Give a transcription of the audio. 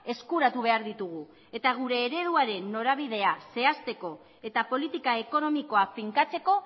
eskuratu behar ditugu eta gure ereduaren norabidea zehazteko eta politika ekonomikoa finkatzeko